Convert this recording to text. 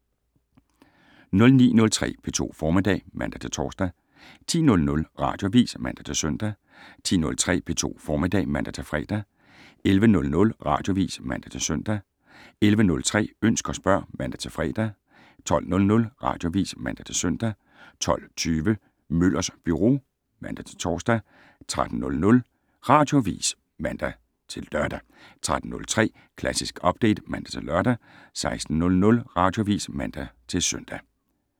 09:03: P2 Formiddag (man-tor) 10:00: Radioavis (man-søn) 10:03: P2 Formiddag (man-fre) 11:00: Radioavis (man-søn) 11:03: Ønsk og spørg (man-fre) 12:00: Radioavis (man-søn) 12:20: Møllers Byro (man-tor) 13:00: Radioavis (man-lør) 13:03: Klassisk Update (man-lør) 16:00: Radioavis (man-søn)